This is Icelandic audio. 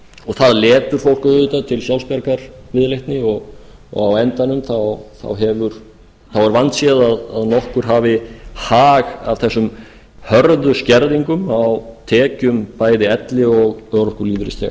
það letur fólk auðvitað til sjálfsbjargarviðleitni og á endanum þá er vandséð að nokkur hafi hag af þessum hörðu skerðingum á tekjum bæði elli og örorkulífeyrisþega